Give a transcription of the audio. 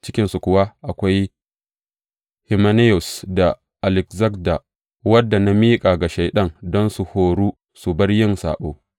Cikinsu kuwa akwai Himenayus da Alekzanda, waɗanda na miƙa ga Shaiɗan don su horo su bar yin saɓo.